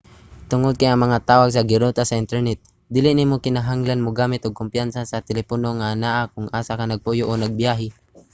tungod kay ang mga tawag giruta sa internet dili na nimo kinahanglang mogamit ug kompanya sa telepono nga anaa kon asa ka nagpuyo o nagbiyahe